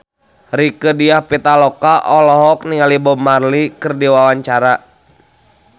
Rieke Diah Pitaloka olohok ningali Bob Marley keur diwawancara